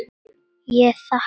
Ég þakka.